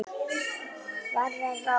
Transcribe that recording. hverra ráða.